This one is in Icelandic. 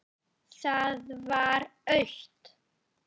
Það var autt.